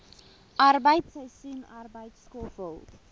arbeid seisoensarbeid skoffel